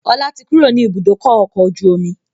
Ọlá tí kúrò ní ibùdókọ̀ ọkọ̀ ojú omi